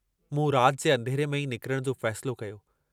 मूं रात जे अंधेरे में ई निकरण जो फ़ैसिलो कयो।